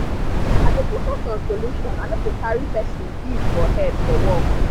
i dey focus on solution i no dey carry person beef for head for work.